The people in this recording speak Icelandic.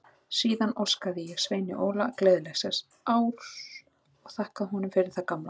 Síðan óskaði ég Sveini Óla gleðilegs árs og þakkaði honum fyrir það gamla.